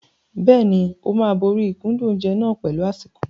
Bẹ́ẹ̀ni, ó máa borí ìkúndùn oúnjẹ náà pẹ̀lú àsìkò.